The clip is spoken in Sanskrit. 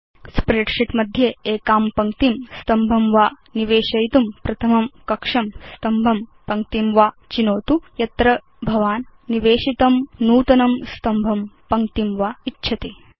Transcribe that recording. स्प्रेडशीट् मध्ये एकां पङ्क्तिं स्तम्भं वा निवेशयितुं प्रथमं कक्षं स्तम्भं पङ्क्तिं वा चिनोतु यत्र भवान् निवेशितं नूतनं स्तम्भं पङ्क्तिं वा इच्छति